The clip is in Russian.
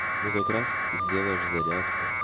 ну как раз сделаешь зарядку